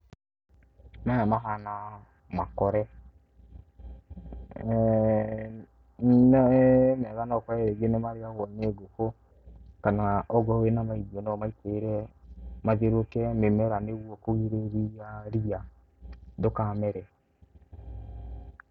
Maya mahana makore, he mega no ũkore nĩ marĩagwo nĩ ngũkũ, kana okorwo wĩna ma irio ũmaitĩrĩre mathiũrũrũke mĩmera nĩguo kũgirĩrĩria ria ndũkamere.